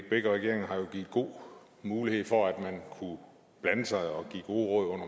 begge regeringer har jo givet god mulighed for at man kunne blande sig og give gode